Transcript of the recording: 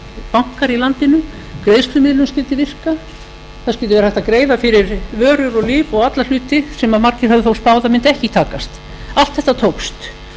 bankar í landinu greiðslumiðlun skyldi virka þar sem hægt var að greiða fyrir vörur og lyf og alla hluti sem margir höfðu spáð að mundi ekki takast allt þetta tókst